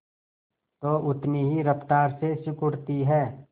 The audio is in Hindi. तो उतनी ही रफ्तार से सिकुड़ती है